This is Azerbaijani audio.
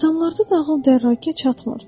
Adamlarda dahil dərrakə çatmır.